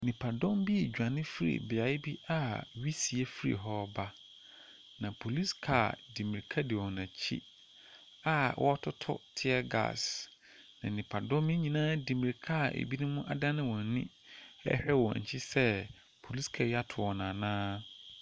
Nnipadɔm bi redwane fi beaeɛ bi a wisie firi ba. Na police car di mmirika di wɔn akyi a wɔretoto tier gas. Nnipadɔm nyinaa de mmirika a wɔn adane wɔn ani erhwɛ wɔn akyi sɛ police car ti ato wɔn anaa.